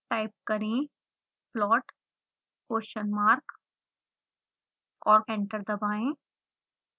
type करें plot question mark और enter दबाएं